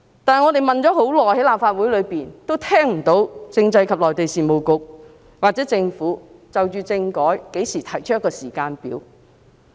但是，我們在立法會內問了很久，都聽不到政制及內地事務局或政府何時就政改提出時間表。